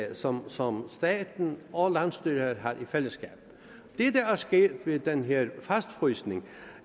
altså som staten og landsstyret har i fællesskab det der er sket ved den her fastfrysning